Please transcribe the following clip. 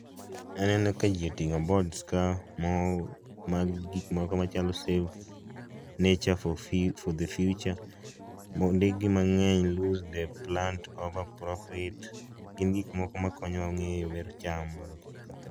Aneno ka ji oting'o boards kaa mag gikmoko machalo save nature for the future mondikgi mang’eny gin gikmoko makonyo wa ng'eyo